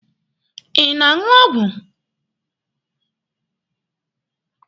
Ị na-aṅụ ọgwụ?